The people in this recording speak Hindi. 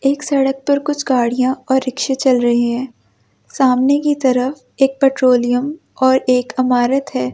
एक सड़क पर कुछ गाड़ियां और रिक्शे चल रहे हैं सामने की तरफ एक पेट्रोलियम और एक इमारत है।